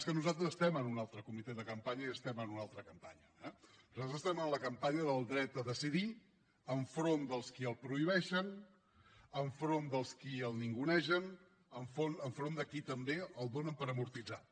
és que nosaltres estem en un altre comitè de campanya i estem en una altra campanya eh nosaltres estem en la campanya del dret a decidir enfront de qui els prohibeixen enfront dels qui el ningunegen enfront de qui també el dóna per amortitzat